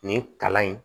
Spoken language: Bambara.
Nin kalan in